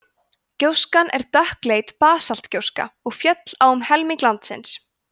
gjóskan er dökkleit basaltgjóska og féll á um helming landsins